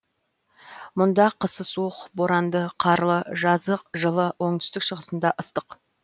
мұнда қысы суық боранды қарлы жазы жылы оңтүстік шығысында ыстық